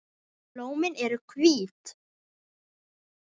Blómin eru hvít.